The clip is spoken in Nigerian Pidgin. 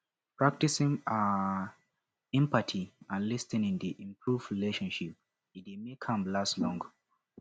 practicing um empathy and lis ten ing dey improve relationship e dey make am last long